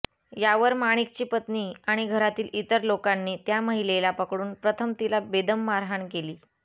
यावर माणिकची पत्नी आणि घरातील इतर लोकांनी त्या महिलेला पकडून प्रथम तिला बेदम मारहाण केली